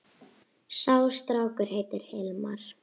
Sá strákur heitir Hilmar.